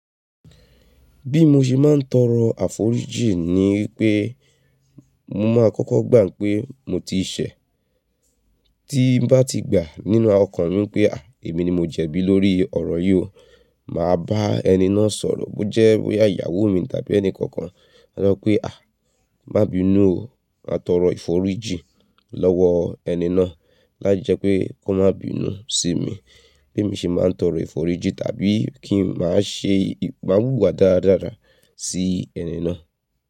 Bí mo ṣe máa ń tọrọ àforíjì ni pé mo máa kọ́kọ́ gbà pé mo ti ṣẹ̀, tí ń bá ti gbà nínú ọkàn mi pé à, èmi ni mo jẹ̀bí lórí ọ̀rọ̀ yìí o, màá bá ẹni náà sọ̀rọ̀ bó jẹ́ bóyá ìyàwó mi tàbí ẹnì kankan. Máa sọ pé à, má bí inú o, máa tọrọ ìforíjì lọ́wọ ẹni náà láijẹ pé kó má bí inú sí mi. Bé mí ń ṣe máa ń tọrọ ìforíjì tàbí kí n máa ṣe, máa wùwà dáradára sí ẹni náà.